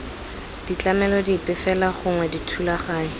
ditlamelo dipe fela gongwe dithulaganyo